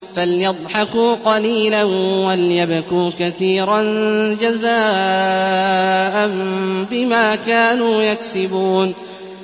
فَلْيَضْحَكُوا قَلِيلًا وَلْيَبْكُوا كَثِيرًا جَزَاءً بِمَا كَانُوا يَكْسِبُونَ